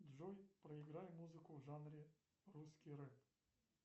джой проиграй музыку в жанре русский рэп